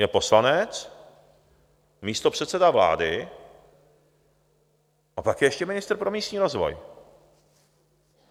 Je poslanec, místopředseda vlády a pak je ještě ministr pro místní rozvoj.